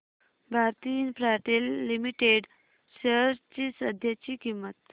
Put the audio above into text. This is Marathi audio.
भारती इन्फ्राटेल लिमिटेड शेअर्स ची सध्याची किंमत